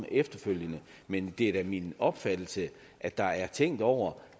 efterfølgende men det er da min opfattelse at der er tænkt over